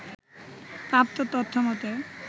প্রাপ্ত তথ্যমতে